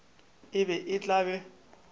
e be e tla be